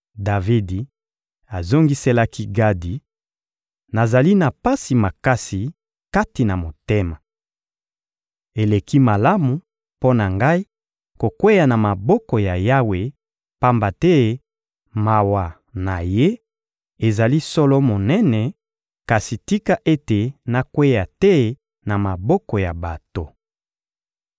Davidi azongiselaki Gadi: — Nazali na pasi makasi kati na motema. Eleki malamu mpo na ngai kokweya na maboko ya Yawe, pamba te mawa na Ye ezali solo monene; kasi tika ete nakweya te na maboko ya bato!